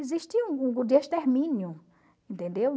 Existia um grupo de extermínio, entendeu?